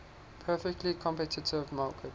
perfectly competitive market